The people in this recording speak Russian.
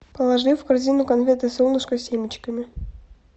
положи в корзину конфеты солнышко с семечками